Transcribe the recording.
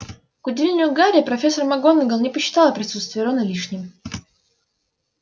к удивлению гарри профессор макгонагалл не посчитала присутствие рона лишним